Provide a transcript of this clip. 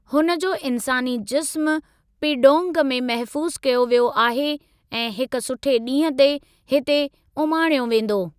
हुन जो इन्सानी जिस्मु पीडोंग में महफूज़ु कयो वियो आहे ऐं हिक सुठे ॾींहं ते हिते उमाणियो वेंदो।